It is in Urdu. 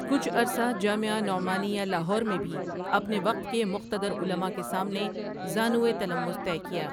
کچھ عرصہ جامعہ نعمانیہ لاہور میں بھی اپنے وقت کے مقتدر علما کے سامنے زانو تلمذ طے کیا ۔